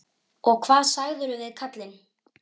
Og hvað sagðirðu við kallinn?